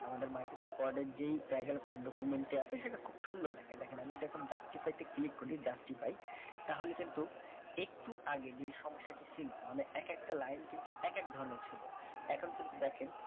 আমাদের microsoft word এর যেই paragraph এর ফলে document এ আছে সেটা খুব সুন্দর দেখায় দেখেন আমি এটা এখন justify এ click করি justify তাহলে কিন্তু একটু আগে যেই সমস্যা টি ছিল মানে এক একটা লাইন কিন্তু এক এক ধরনের ছিল। এখন কিন্তু দেখেন